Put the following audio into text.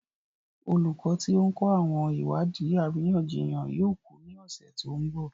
Olùkọ́ tí ó ń kọ́ àwọn ìwádìí àríyànjiyàn yóò kú ní ọ̀sẹ̀ tó ń bọ̀.